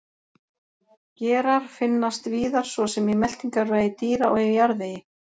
Gerar finnast víðar svo sem í meltingarvegi dýra og í jarðvegi.